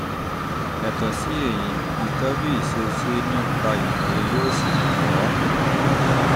yàtọ̀ sí èyí ìtọ́jú ìṣesí tàbí ìtọ́jú ìṣesí nípa ìmòye yóò ṣèrànwọ́